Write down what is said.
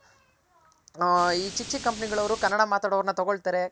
ಆ ಈ ಚಿಕ್ ಚಿಕ್ company ಗಳ್ ಅವ್ರ್ ಕನ್ನಡ ಮಾತಾಡ್ ಅವರ್ನ ತಗೊಳ್ತಾರೆ